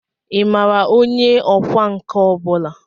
Ị maara onye ọkwá nkà ọ bụla?